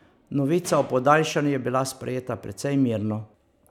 Novica o podaljšanju je bila sprejeta precej mirno.